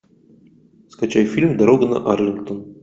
скачай фильм дорога на арлингтон